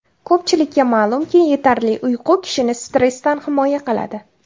Ko‘pchilikka ma’lumki, yetarli uyqu kishini stressdan himoya qiladi.